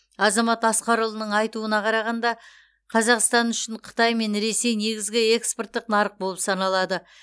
азамат асқарұлының айтуына қарағанда қазақстан үшін қытай мен ресей негізгі экспорттық нарық болып саналады